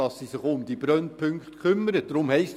Das sage ich auch als Jurist.